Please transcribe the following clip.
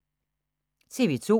TV 2